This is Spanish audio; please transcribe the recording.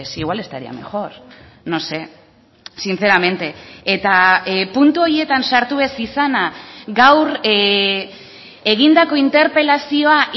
igual estaría mejor no sé sinceramente eta puntu horietan sartu ez izana gaur egindako interpelazioa